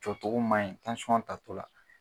Jɔ cogo ma ɲi tansiyɔn ta tɔ la